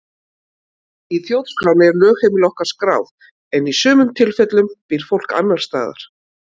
Í þjóðskránni er lögheimili okkar skráð en í sumum tilfellum býr fólk annars staðar.